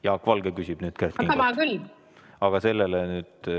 Jaak Valge küsib nüüd Kert Kingo käest ......